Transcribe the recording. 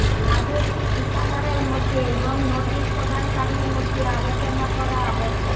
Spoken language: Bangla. আদেশটি ঠিকাদারের মধ্যে এবং নোটিশ প্রদানকারীর মধ্যে আলোচনা করা আবশ্যক